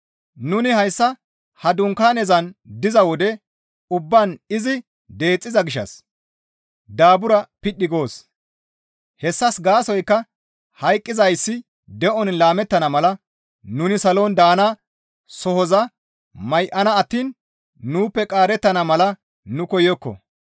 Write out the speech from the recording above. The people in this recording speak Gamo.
Nuni hayssa ha dunkaanezan diza wode ubbaan izi deexxiza gishshas daabura piidhi goos; hessas gaasoykka hayqqizayssi de7on laamettana mala nuni salon daana sohoza may7ana attiin nuuppe qaarettana mala nu koyokko.